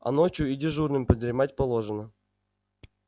а ночью и дежурным подремать положено